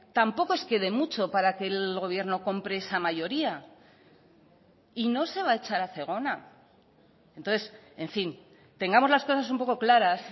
tampoco es que dé mucho para que el gobierno compre esa mayoría y no se va a echar a zegona entonces en fin tengamos las cosas un poco claras